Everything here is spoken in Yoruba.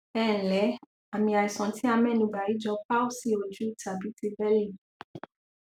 ẹǹlẹ àmì àìsàn tí a mẹnubà yìí jọ cs] palsy ojú tàbí ti bẹẹlì